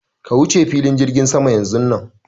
Ka wuce filin jirgin sama yanzun nan!